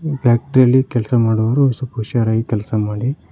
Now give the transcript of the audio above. Factory ಲಿ ಕೆಲಸ ಮಾಡುವವರು ಸ್ವಲ್ಪ ಹುಷಾರಾಗಿ ಕೆಲಸ ಮಾಡಿ.